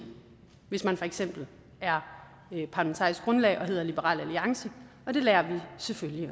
hvis man for eksempel er parlamentarisk grundlag og hedder liberal alliance og det lærer vi selvfølgelig